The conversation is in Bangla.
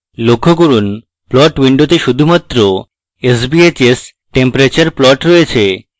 লক্ষ্য করুন plot window শুধুমাত্র sbhs temperature plot রয়েছে